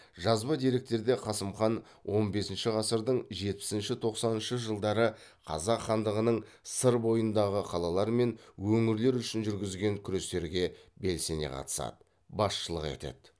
жазба деректерде қасым хан он бесінші ғасырдың жетпісінші тоқсаныншы жылдары қазақ хандығының сыр бойындағы қалалар мен өңірлер үшін жүргізген күрестерге белсене қатысады басшылық етеді